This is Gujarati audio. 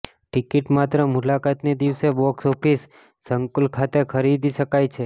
ટિકિટ માત્ર મુલાકાતની દિવસે બોક્સ ઓફિસ સંકુલ ખાતે ખરીદી શકાય છે